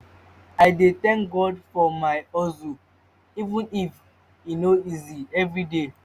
i dey tank god for my hustle even if e no easy evriday.